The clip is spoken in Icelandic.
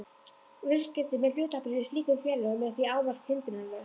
Viðskipti með hlutabréf í slíkum félögum er því ávallt hindrunarlaus.